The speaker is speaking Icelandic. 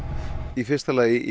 í fyrsta lagi